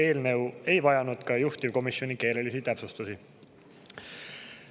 Eelnõu ei vajanud ka juhtivkomisjoni keelelisi täpsustusi.